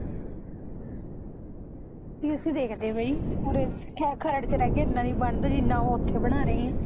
ਵੀ ਅਸੀਂ ਦੇਖਦੇ ਬਈ ਉਰੇ ਖਰੜ ਚ ਰਹਿ ਕੇ ਏਨਾਂ ਨੀ ਬਣਦਾ ਜਿਨਾ ਓਹ ਓਥੇ ਬਣਾ ਰਹੇ ਐ